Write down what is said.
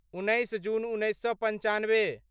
उन्नैस जून उन्नैस सए पन्चानबे